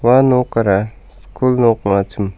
ua nokara skul nok ong·achim.